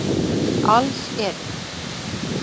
Alls eru